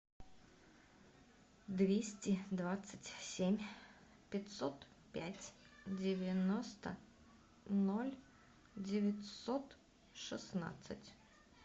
двести двадцать семь пятьсот пять девяносто ноль девятьсот шестнадцать